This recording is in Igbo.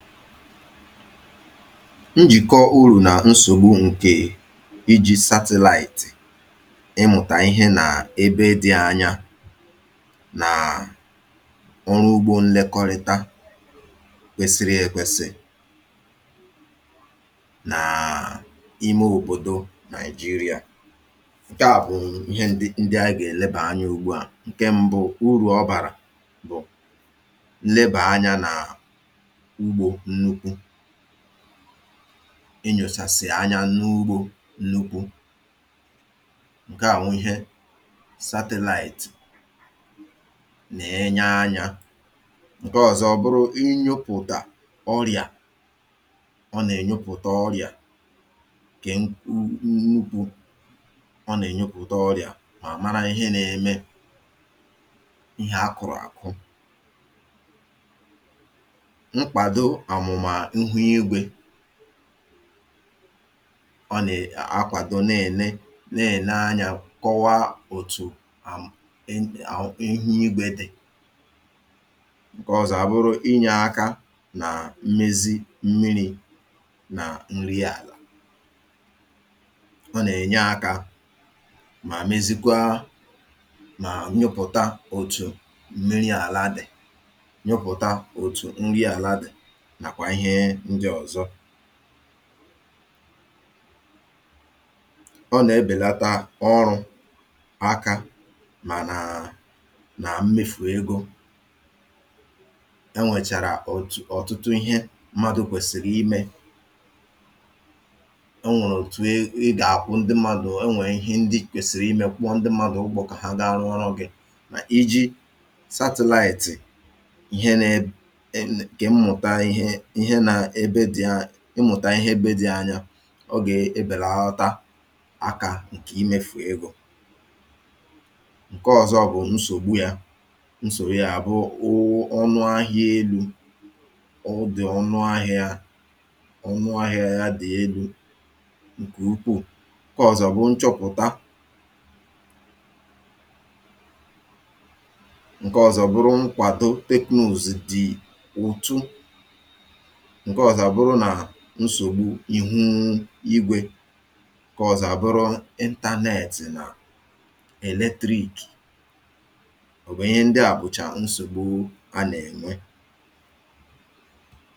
Njìkọ urù nà nsògbu ǹkè ịji̇ satịlaịtị̀ ịmụ̀tà ihe nà ebe dị̇ anya nà um nà ọrụ ugbȯ nlekọrịta kwesiri èkwesì nà um ime òbòdò nàịjirịȧ. Nke à bụ̀ ihe ndị ndị anyi gà èlebà anya ugbȯ à ǹke mbụ urù ọ bàrà bụ̀, nleba anya n'ugbo nnukwu enyòsàsị̀ anya n’ugbȯ nnukwu ǹke à nwụ ihe satịlaịtị nà-enye anyȧ. Nke ọ̀zọ bụrụ ịnyopùtà ọrị̀à. Ọ nà-ènyupùtà ọrị̀à kè um nnukwu ọ nà-ènyupùtà ọrị̀à mà àmara ihe nȧ-ėmė ihe akụ̀rụ̀ àkụ. Nkwado omuma ihu igwe, ọ nà um akwàdo na ène na ène anyȧ kọwaa òtù um ihu igwė dì. Nke ọzọ à bụrụ ịnye aka nà mmezi mmiri̇ nà nri àlà. Ọ nà ènye akȧ mà mezikwaa mà nyụpụ̀ta òtù mmiri̇ àla dì, nyụpụta ótụ nri ala di nakwa ihe ndị ọzọ. Ọ nà-ebèlata ọrụ̇ aka mànà nà um na mmefù egȯ. Enwèchàrà ọ̀tụtụ ihe mmadụ̇ kwèsìrì imė e nwèrè òtù i ga-àkwụ ndị mmadụ̇ enwè ihe ndị kwèsìrì imė kwụọ ndị mmadụ̀ ugwȯ kà ha ga-arụ ọrụ̇ gị̇ nà iji̇ satịlaị̀tị̀ nke ịmụ̀tà um ihe ebe di̇ anya ọ gà-èbelata akà ǹkè imėfù egȯ. Nke ọ̀zọ bụ̀ nsògbu yȧ. Nsògbu yȧ bụ um ọnụ ahịȧ elu̇. Ọ dị̀ ọnụ ahịȧ yȧ. Ọnụ ahịȧ yȧ dị̀ elu̇ ǹkè ukwuù. Nke ọ̀zọ bụ nchọpụ̀ta Nke ọ̀zọ bụrụ nkwado teknụz dị̀ òtù. Nke ọzọ bụrụ na nsògbu ịhụ̇ um ịgwė kà ọ̀zọ̀ a bụrụ intȧnẹ̀tị̀ nà eletrikè òbòdo. Ihe ndị a bụ̀chà nsògbu anà-ènwe.